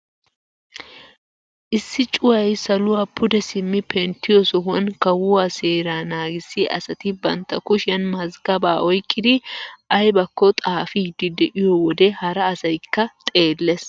Issi cuwaay saluwaa pude simmi penttiyoo sohuwaan kawuwaa seeraa nagissiyaa asati bantta kushiyaan mazgabaa oyqqidi aybakko xaafiidi de'iyoo wode hara asaykka xeellees.